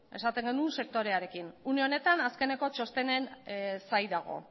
sektorearekin une honetan azkeneko txostenen zain dago